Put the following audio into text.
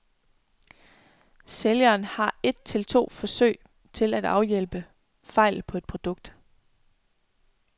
Sælgeren har et til to forsøg til at afhjælpe fejl på et produkt.